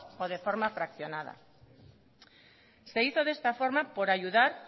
o de forma fraccionada se hizo de esta forma por ayudar